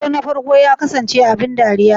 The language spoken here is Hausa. Dodo na farko ya kasance abin dariya?